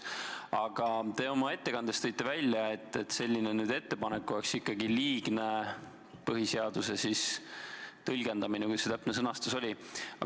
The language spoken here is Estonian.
Aga te oma ettekandes tõite välja, et selline ettepanek oleks liigne põhiseaduse tõlgendamine või kuidas see täpne sõnastus oligi.